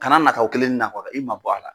Kana nataa o kelen ni na i ma bɔ a la.